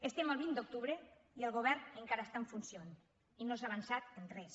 estem a vint d’octubre i el govern encara està en funcions i no s’ha avançat en res